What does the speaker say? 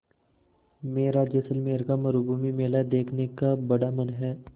मेरा जैसलमेर का मरूभूमि मेला देखने का बड़ा मन है